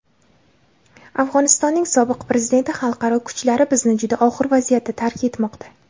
Afg‘onistonning sobiq prezidenti: xalqaro kuchlar bizni juda og‘ir vaziyatda tark etmoqda.